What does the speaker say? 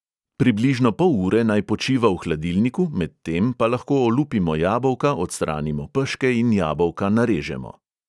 Približno pol ure naj počiva v hladilniku, medtem pa lahko olupimo jabolka, odstranimo peške in jabolka narežemo.